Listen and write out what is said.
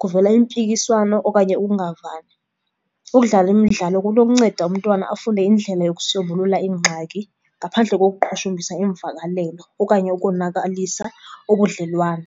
kuvela impikiswano okanye ukungavani. Ukudlala imidlalo kunokunceda umntwana afune indlela yokusombulula iingxaki ngaphandle kokuqhushumbisa iimvakalelo okanye ukonakalisa ubudlelwane.